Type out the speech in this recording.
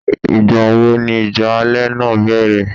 Ìgbà wo ni ìjà ilẹ̀ náà bẹ̀rẹ̀?